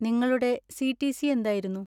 നിങ്ങളുടെ സി.ടി.സി. എന്തായിരുന്നു?